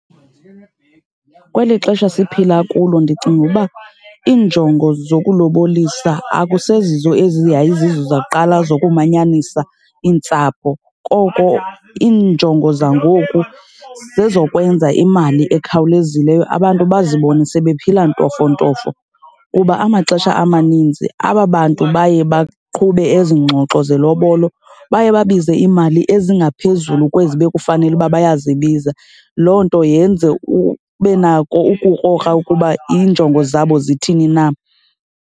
Kweli xesha siphila kulo ndicinga uba iinjongo zokulobolisa akusezizo ezi yayizizo zakuqala zokumanyanisa iintsapho. Koko iinjongo zangoku zezokwenza imali ekhawulezileyo, abantu bazibone sebephila ntofontofo. Kuba amaxesha amaninzi aba bantu baye baqhube ezi ngxoxo zelobolo baye babize iimali ezingaphezulu kwezi bekufanele uba bayazibiza. Loo nto yenze ube nako ukukrokra ukuba iinjongo zabo zithini na.